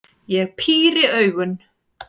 Ég píri augun.